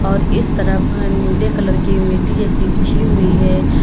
और इस तरफ नीले कलर की मिट्टी जैसी बिछी हुई है।